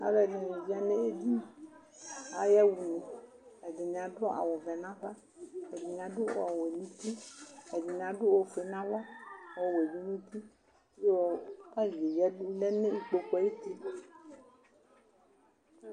Alʋ ɛdini ewledʋ edini ayaxa une ɛdini adʋ awʋvɛ nʋ ava ɛdini adʋ ɔwɛ nʋ uti ɛdini adʋ ofue nʋ ava ɔwebi nʋ uti yɔ pani yɛ lɛ nʋ ikpokʋ ayu uti